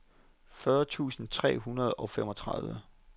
fyrre tusind tre hundrede og femogtredive